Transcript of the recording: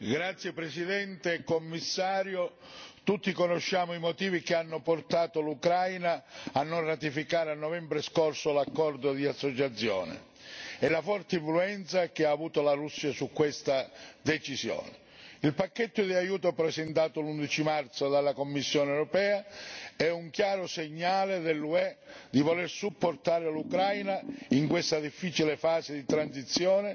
Signora Presidente, onorevoli colleghi, signor Commissario, tutti conosciamo i motivi che hanno portato l'Ucraina a non ratificare, a novembre scorso, l'accordo di associazione e la forte influenza che ha avuto la Russia su questa decisione. Il pacchetto di aiuto, presentato l'11 marzo dalla Commissione europea, è un chiaro segnale dell'UE di voler supportare l'Ucraina in questa difficile fase di transizione